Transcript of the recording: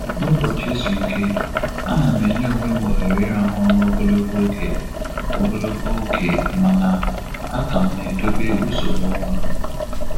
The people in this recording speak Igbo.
N'ụbọchị izu ike, a na m enye onwe m ohere ịrahụ ụra ogologo oge ogologo oge mana a ka m na-edobe usoro ụra.